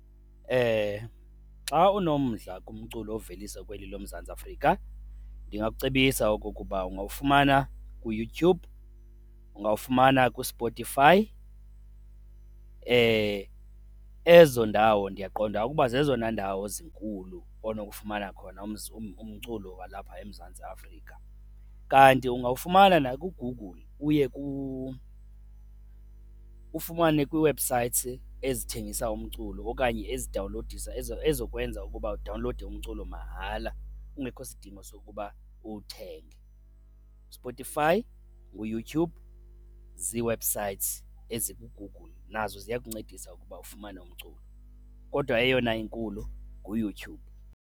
Xa unomdla kumculo oveliswa kweli loMzantsi Afrika ndingakucebisa oko kuba ungawufumana kuYouTube, ungawufumana kuSpotify. Ezo ndawo ndiyaqonda ukuba zezona ndawo zinkulu onokufumana khona umculo walapha eMzantsi Afrika. Kanti ungawufumana nakuGoogle uye ufumane kwii-websites ezithengisa umculo okanye ezidawunlowudisa ezizokwenza ukuba udawunlowude umculo mahala kungekho sidingo sokuba uwuthenge. USpotify, nguYouTube zii-websites ezikuGoogle nazo ziya kuncedisa ukuba ufumane umculo, kodwa eyona inkulu nguYouTube.